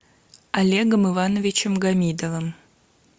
олегом ивановичем гамидовым